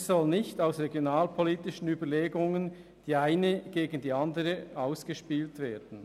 Es soll nicht aus regionalpolitischen Überlegungen die eine gegen die andere ausgespielt werden.